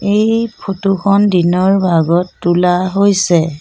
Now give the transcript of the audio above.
এই ফটো খন দিনৰ ভাগত তোলা হৈছে।